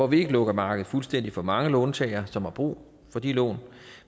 vi ikke lukker markedet fuldstændigt for de mange låntagere som har brug for de lån